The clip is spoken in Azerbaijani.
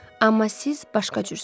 Amma siz başqa cürsüz.